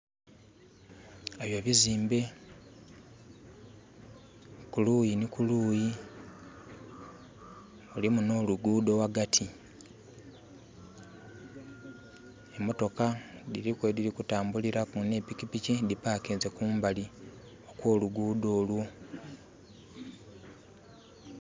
Ebyo bizimbe kuluyi ni kuluyi. Mulimu no luguudo wagati. Emotoka diri ku ediri kutambulira ku ne pikipiki di parkinze kumbali kwo luguudo olwo